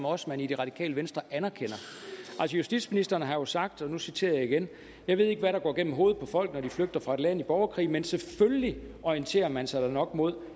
også i det radikale venstre anerkender justitsministeren har jo sagt og nu citerer jeg igen jeg ved ikke hvad der går gennem hovedet på folk når de flygter fra et land i borgerkrig men selvfølgelig orienterer man sig da nok mod